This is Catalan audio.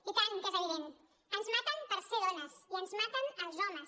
i tant que és evident ens maten per ser dones i ens maten els homes